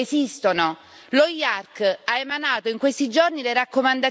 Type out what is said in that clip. In Europa gli strumenti per far fronte a questa sfida esistono.